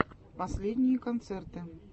последние концерты